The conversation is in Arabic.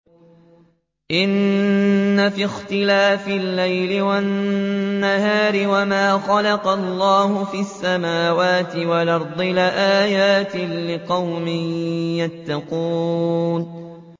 إِنَّ فِي اخْتِلَافِ اللَّيْلِ وَالنَّهَارِ وَمَا خَلَقَ اللَّهُ فِي السَّمَاوَاتِ وَالْأَرْضِ لَآيَاتٍ لِّقَوْمٍ يَتَّقُونَ